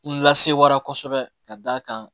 N lasewara kosɛbɛ ka d'a kan